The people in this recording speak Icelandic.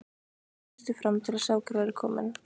Krakkarnir þustu fram til að sjá hver væri kominn.